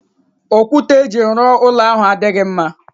Okwute eji ruo ulo ahu adighi mma